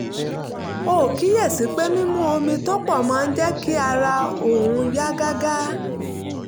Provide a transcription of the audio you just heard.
ó kíyè sí i pé mímu omi tó pọ̀ máa ń jẹ́ kí ara òun yá gágá